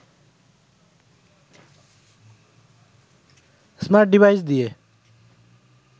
smart device দিয়ে